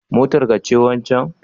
Motar ka ce wancen